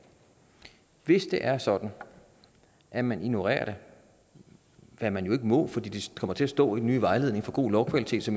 hvis det er sådan at man ignorerer det hvad man jo ikke må for det kommer til at stå i den nye vejledning for god lovkvalitet så